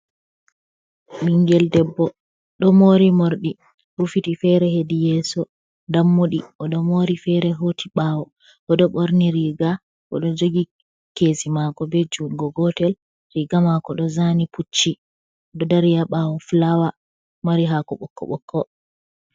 Bingel debbo do mori morɗi rufiti fere heɗi yeso. Ɗammuɗi oɗo mori fere hoti bawo. Oɗo borni riga bo ɗo jogi ke'esi mako be jungo gotel. Riga mako ɗo zani pucchi ɗo dari ha bawo fulawa mari hako bokko bokko.